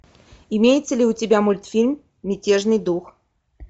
имеется ли у тебя мультфильм мятежный дух